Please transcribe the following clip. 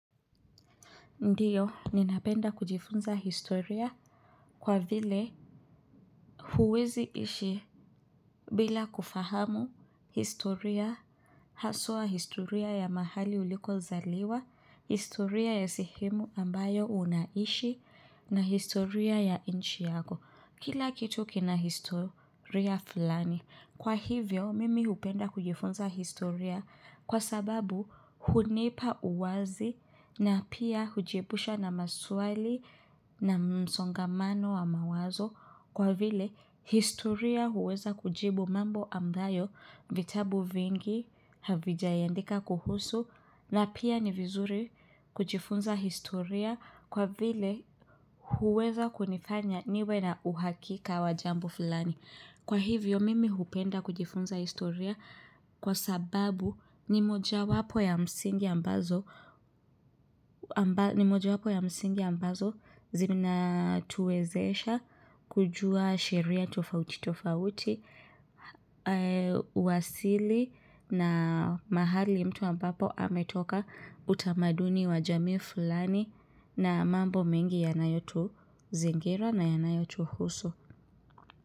Ndiyo, ninapenda kujifunza historia kwa vile huwezi ishi bila kufahamu historia, haswa historia ya mahali ulikozaliwa, historia ya sehemu ambayo unaishi, na historia ya inchi yako. Kila kitu kina historia fulani. Kwa hivyo, mimi hupenda kujifunza historia kwa sababu hunipa uwazi na pia hujiepusha na maswali na msongamano wa mawazo. Kwa vile historia huweza kujibu mambo ambayo vitabu vingi havijayaandika kuhusu na pia ni vizuri kujifunza historia kwa vile huweza kunifanya niwe na uhakika wa jambo fulani. Kwa hivyo mimi hupenda kujifunza historia kwa sababu ni mojawapo ya msingi ambazo ni mojawapo ya msingi ambazo zinatuwezesha kujua sheria tofauti tofauti uwasili na mahali mtu ambapo ametoka utamaduni wajamii fulani na mambo mengi yanayotuzingira na yanayotuhusu.